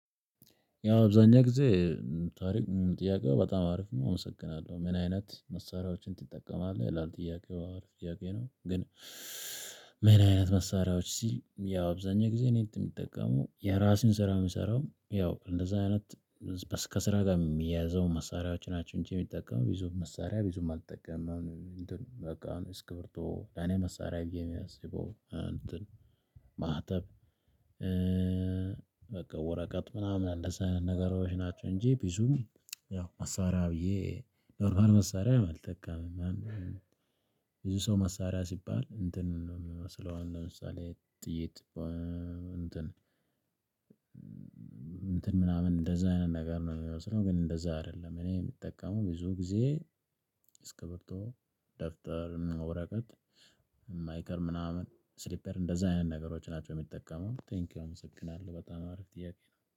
ያው አብዛኛው ጊዜ ታሪክ ጥያቄው በጣም አሪፍ ነው አመሰግናለሁ። ምን አይነት መሳሪያዎችን ትጠቀማለህ ይላል? ጥያቄው አሪፍ ጥያቄ ነው። ግን ምን አይነት መሳሪያዎች ሲል ያው አብዛኛው ጊዜ እኔ የምጠቀመው የራሴን ስራ የምሰራው ያው እንደዛ አይነት ከ ከስራ ጋር የሚያያዘው መሳሪያዎች ናቸው። እንጂ የምጠቀመው ብዙ መሳሪያ ብዙም አልጠቀምም አሁን። በቃ እስክብርቶ ለኔ መሳሪያ ብዬ የሚያስበው እንተን ማህተብ በቃ ወረቀት ምናምን አለ እዛ አይነት ነገሮች ናቸው። እንጂ ቢዙም ያው መሳሪያ ብዬ ኖርማል መሳሪያ አልጠቀምም። ብዙ ሰው መሳሪያ ሲባል እንትን ነው የሚመስለው ለምሳሌ ጥይት እንትን እንትን ምናምን እንደዛ አይነት ነገር ነው የሚመስለው። ግን እንደዛ አይደለም። እኔ የምጠቀመው ብዙ ጊዜ እስከብርቶ ደፍተር ወረቀት የማይቀር ምናምን ስሊፐር እንደዛ አይነት ነገሮች ናቸው። የምጠቀመው ቴንኪው አመሰግናለሁ በጣም አሪፍ ጥያቄ ነው።